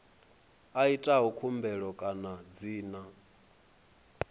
a itaho khumbelo kana dzina